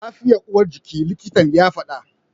Lafiya uwar jiki, likitan ya fada.